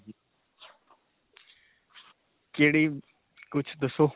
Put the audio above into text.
ਕਿਹੜੀ, ਕੁੱਝ ਦੱਸੋ.